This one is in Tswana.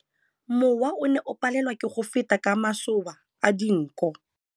Mowa o ne o palelwa ke go feta ka masoba a dinko.